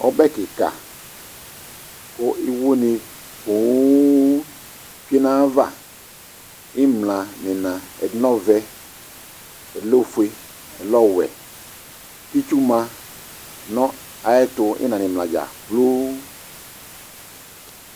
Ɔbɛ kɩka kʋ iwonɩ poo tsue nʋ ayava ɩmla nʋ ɩɣɩna Ɛdɩnɩ lɛ ɔvɛ, ɛdɩnɩ lɛ ofue, ɛdɩnɩ lɛ ɔwɛ kʋ itsu ma nʋ ayɛtʋ ɩɣɩna nʋ ɩmla dza kplo